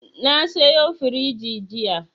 Na sayo firiji jiya.